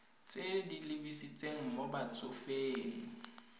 tse di lebisitseng mo batsofeng